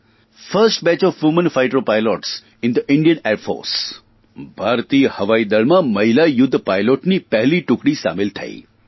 first batch of women fighter pilots in the Indian air force ભારતીય હવાઇદળમાં મહિસા યુદ્ધ પાઇલટની પહેલી ટુકડી સામેલ તઇ